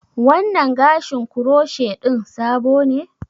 Wannan gashin croshe ɗin sabo ne?